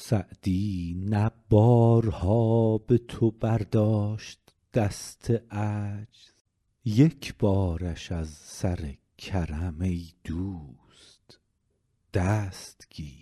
سعدی نه بارها به تو برداشت دست عجز یک بارش از سر کرم ای دوست دست گیر